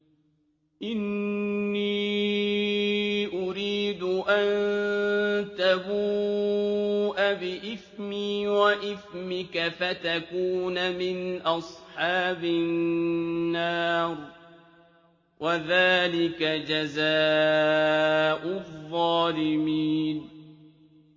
إِنِّي أُرِيدُ أَن تَبُوءَ بِإِثْمِي وَإِثْمِكَ فَتَكُونَ مِنْ أَصْحَابِ النَّارِ ۚ وَذَٰلِكَ جَزَاءُ الظَّالِمِينَ